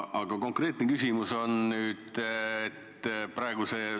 Aga konkreetne küsimus on mul see.